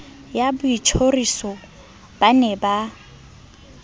ya boitjhoriso ba ne ba